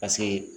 Paseke